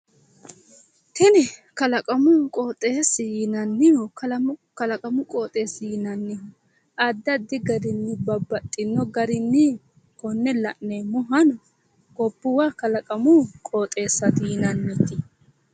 Tini kalaqamu qooxeessi yinannihu kalaqamu qooxeessi yinannihu addi addi garinni babbaxxino garinni konne la'neemmohano gobbuwa kalaqamu qooxeessaati yinannite.